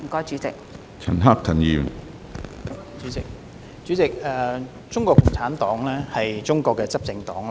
主席，中國共產黨是中國的執政黨。